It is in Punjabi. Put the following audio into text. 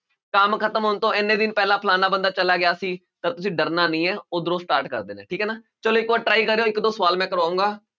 ਕੰਮ ਖ਼ਤਮ ਹੋਣ ਤੋਂ ਇੰਨੇ ਦਿਨ ਪਹਿਲਾਂ ਫਲਾਨਾ ਬੰਦਾ ਚਲਾ ਗਿਆ ਸੀ ਤਾਂ ਤੁਸੀਂ ਡਰਨਾ ਨੀ ਹੈ ਉੱਧਰੋਂ start ਕਰ ਦੇਣਾ ਹੈ ਠੀਕ ਹੈ ਨਾ ਚਲੋ ਇੱਕ ਵਾਰ try ਕਰਿਓ ਇੱਕ ਦੋ ਸਵਾਲ ਮੈਂ ਕਰਵਾਊਂਗਾ।